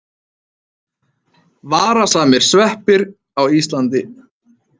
Varasamir sveppir á Íslandi.